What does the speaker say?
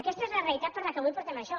aquesta és la realitat per què avui portem això